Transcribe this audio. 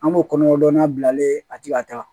An b'o kɔnɔdonna bilalen ye a tɛ ka taa